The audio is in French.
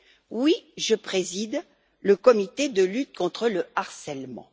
Oui, je préside le comité de lutte contre le harcèlement.